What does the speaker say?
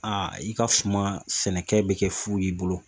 i ka suma sɛnɛkɛ bi kɛ fu y'i bolo